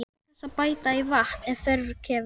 Hann fær algert áfall og hrökklast frá honum.